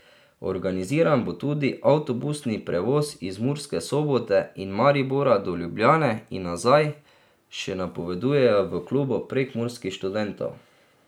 Organiziran bo tudi avtobusni prevoz iz Murske Sobote in Maribora do Ljubljane in nazaj, še napovedujejo v Klubu prekmurskih študentov.